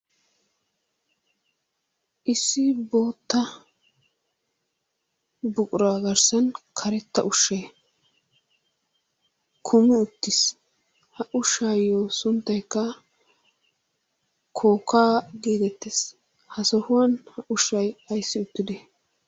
Issi bootta buquraa garssan karetta ushshay kumi uttiis. Ha ushshaayo sunttaykka kookkaa geetettees. Ha sohuwan ha ushshay ayssi uttidee?